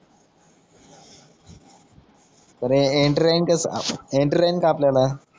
अरे एन्ट्रीराईन कस एन्ट्री राईन का आपल्याला